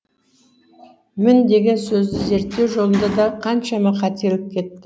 мін деген сөзді зерттеу жолында да қаншама қателік кетті